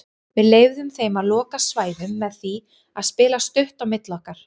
Við leyfðum þeim að loka svæðum með því að spila stutt á milli okkar.